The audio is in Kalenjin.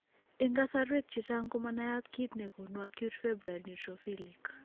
En kasarwek chechang ko manayat kiit negonu acute febrile neutrophilic